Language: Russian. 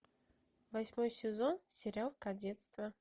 восьмой сезон сериал кадетство